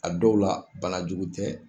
A dɔw la bana jugu tɛ.